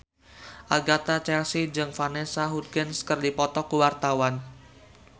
Agatha Chelsea jeung Vanessa Hudgens keur dipoto ku wartawan